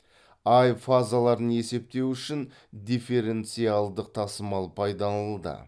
ай фазаларын есептеу үшін дифференциалдық тасымал пайдаланылды